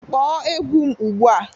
Kpọọ egwu m ugbu a!